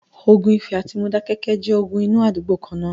ogun ifẹ̀ àti Modákéké jẹ́ ogun inú àdúgbò kan-ná-an.